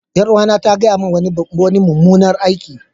Yar'uwata ta gaya mini wani mummunan aiki.